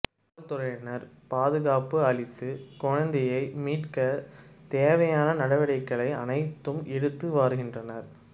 காவல்துறையினர் பாதுகாப்பு அளித்து குழந்தையை மீட்க தேவையான நடவடிக்கை அனைத்தையும் எடுத்து வருகின்றனர்